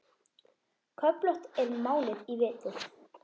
Köflótt er málið í vetur.